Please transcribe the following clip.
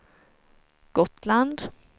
Gotland